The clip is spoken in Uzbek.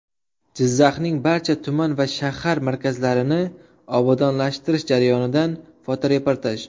Jizzaxning barcha tuman va shahar markazlarini obodonlashtirish jarayonidan fotoreportaj.